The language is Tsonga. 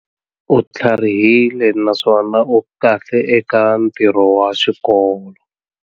U tlharihile naswona u kahle eka ntirho wa xikolo.